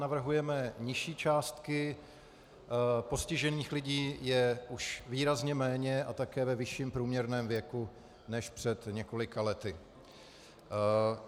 Navrhujeme nižší částky, postižených lidí je už výrazně méně a také ve vyšším průměrném věku než před několika lety.